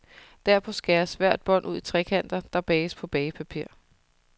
Derpå skæres hvert bånd ud i trekanter, der bages på bagepapir.